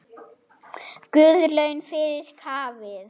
Guð laun fyrir kaffið.